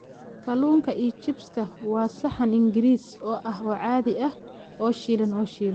Kalluunka iyo chips-ka waa saxan Ingiriis ah oo caadi ah oo shiilan oo shiilan.